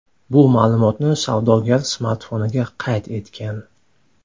Bu ma’lumotni savdogar smartfoniga qayd etgan.